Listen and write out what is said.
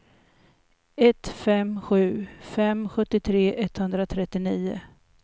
ett fem sju fem sjuttiotre etthundratrettionio